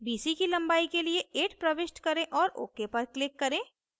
bc की लंबाई के लिए 8 प्रविष्ट करें और ok पर click करें